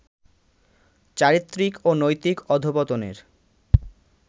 চারিত্রিক ও নৈতিক অধঃপতনের